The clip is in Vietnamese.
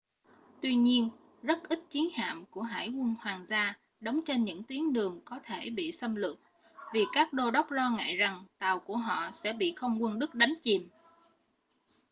tuy nhiên rất ít chiến hạm của hải quân hoàng gia đóng trên những tuyến đường có thể bị xâm lược vì các đô đốc lo ngại rằng tàu của họ sẽ bị không quân đức đánh chìm